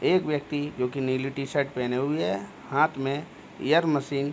एक व्यक्ति जोकि नीली टी-शर्ट पहने हुए है हाँथ में ऐयर मशीन --